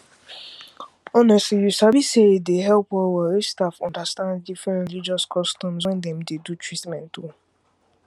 honestly you sabi say e dey help well well if staff understand different religious customs when dem dey do treatment